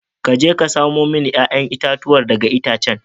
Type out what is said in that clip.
Ka je ka samo mini 'ya'yan itatuwa daga itacen